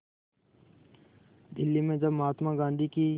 दिल्ली में जब महात्मा गांधी की